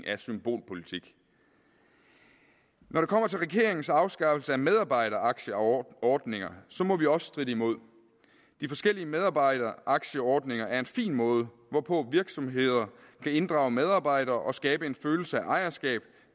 af symbolpolitik når det kommer til regeringens afskaffelse af medarbejderaktieordninger må vi også stritte imod de forskellige medarbejderaktieordninger er en fin måde hvorpå virksomheder kan inddrage medarbejdere og skabe en følelse af ejerskab